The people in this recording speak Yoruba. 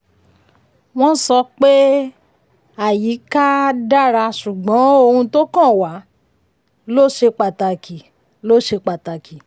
wọ́n sọ pé um àyíká um dára ṣùgbọ́n ohun tó kan wa um ló ṣe pataki. ló ṣe pataki.